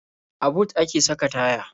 A but a ke saka kaya.